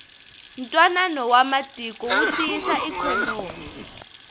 ntwanano wa matiko wu tiyisa ikhonomi